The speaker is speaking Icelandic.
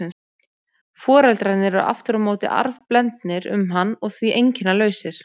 Foreldrarnir eru aftur á móti arfblendnir um hann og því einkennalausir.